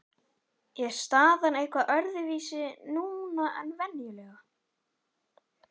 Er staðan eitthvað öðruvísi núna en venjulega?